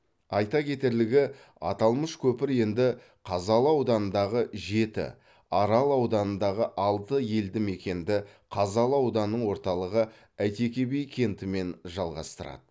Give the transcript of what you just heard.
айта кетерлігі аталмыш көпір енді қазалы ауданындағы жеті арал ауданындағы алты елді мекенді қазалы ауданының орталығы әйтеке би кентімен жалғастырады